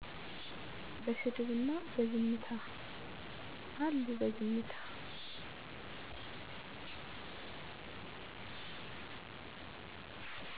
በስድብ እና በዝምታ። አሉ በዝምታ